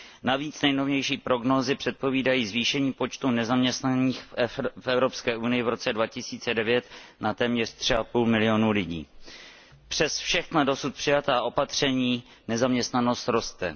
Navíc nejnovější prognózy předpovídají zvýšení počtu nezaměstnaných v Evropské unii v roce 2009 na téměř 3,5 milionu lidí. Přes všechna dosud přijatá opatření nezaměstnanost roste.